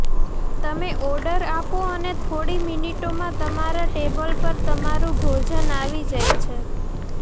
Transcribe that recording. તમે ઑર્ડર આપો અને થોડી મિનિટોમાં તમારા ટેબલ પર તમારું ભોજન આવી જાય છે